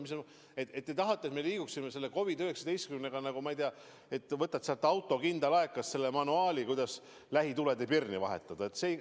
Kas te tahate, et me liiguksime selle COVID-19-ga edasi, ma ei tea, et võtad nagu auto kindalaekast õpetuse, kuidas lähitulede pirni vahetada?